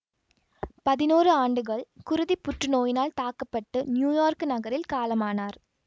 பதினோரு ஆண்டுகள் குருதிப் புற்று நோயினால் தாக்க பட்டு நியூயார்க்கு நகரில் காலமானார்